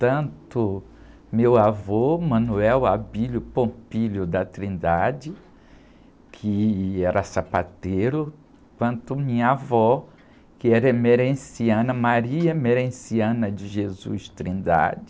Tanto meu avô, que era sapateiro, quanto minha avó, que era.